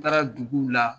N taara duguw la